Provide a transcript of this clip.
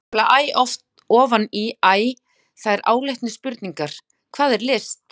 Þar vakna nefnilega æ ofan í æ þær áleitnu spurningar: Hvað er list?